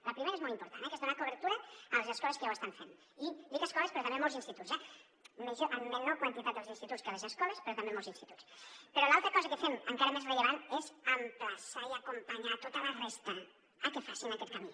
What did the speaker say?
la primera és molt important que és donar cobertura a les escoles que ja ho estan fent i dic escoles però també molts instituts eh en menor quantitat els instituts que les escoles però també molts instituts però l’altra cosa que fem encara més rellevant és emplaçar i acompanyar tota la resta a que facin aquest camí